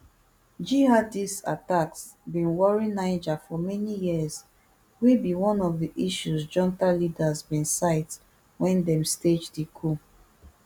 jihadist attacks bin worry niger for many years wey be one of di issues junta leaders bin cite wen dem stage di coup